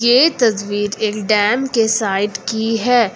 ये तस्वीर एक डैम के साइड की है।